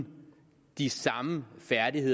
de